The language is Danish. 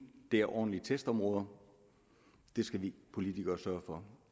er ordentlige testområder det skal vi politikere sørge for